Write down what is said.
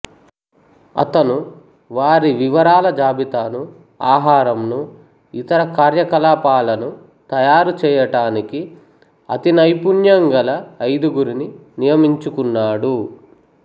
అతను వారి వివరాల జాబితాను ఆహారంను ఇతర కార్యకలాపాలను తయారుచేయటానికి అతినైపుణ్యంగల ఐదుగురుని నియమించుకున్నాడు